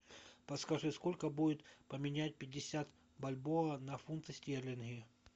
подскажи сколько будет поменять пятьдесят бальбоа на фунты стерлинги